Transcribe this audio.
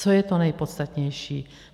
Co je to nejpodstatnější?